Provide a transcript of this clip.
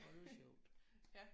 Øj det var sjovt